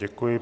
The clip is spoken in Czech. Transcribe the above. Děkuji.